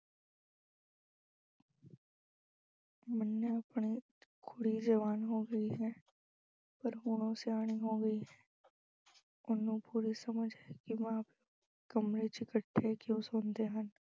ਮੰਨਿਆ ਆਪਣੀ ਕੁੜੀ ਜਵਾਨ ਹੋ ਗਈ ਹੈ ਪਰ ਹੁਣ ਉਹ ਸਿਆਣੀ ਹੋ ਗਈ ਹੈ ਉਹਨੂੰ ਪੂਰੀ ਸਮਝ ਹੈ ਕਿ ਮਾਂ ਪਿਉ ਕਮਰੇ ਚ ਇਕੱਠੇ ਕਿਉਂ ਸੌਂਦੇ ਹਨ।